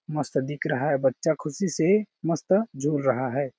मस्त दिख रहा है बच्चा खुशी से मस्त झूल रहा है।